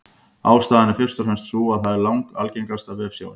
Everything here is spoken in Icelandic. Ástæðan er fyrst og fremst sú að það er langalgengasta vefsjáin.